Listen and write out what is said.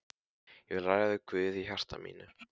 Ég vil ræða við Guð í hjarta mínu.